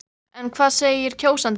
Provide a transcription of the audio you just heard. En hvað segir kjósandinn?